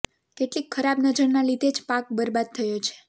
કેટલીક ખરાબ નજરના લીધે જ પાક બર્બાદ થયો છે